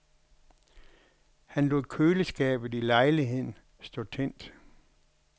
Han lod køleskabet i lejligheden stå tændt.